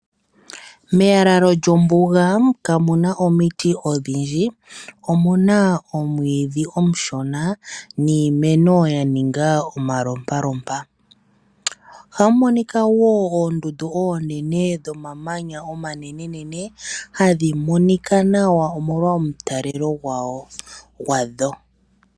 Meyalalo lyombuga kamuna oomiti odhindji .Omuna omwiidhi omushona niimeno yaninga omalopalopa .Ohamu monika woo oondundu onene dhomananya omanenenene hadhi monika nawa omolwa omutalelo gwadho.